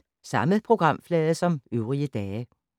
Samme programflade som øvrige dage